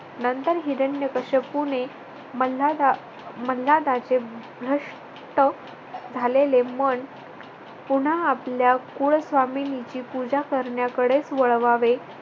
नंतर हिरण्यकश्यपूणे मल्हार आह मल्हार राजे भ्रष्ट झालेले मन पुन्हा आपल्या कुलस्वामिनीची पूजा करण्याकडेच वळवावे.